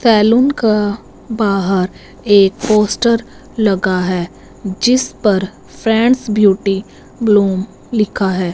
Salon का बाहर एक पोस्टर लगा है जिस पर फ्रेंड्स ब्यूटी ब्लूम लिखा है।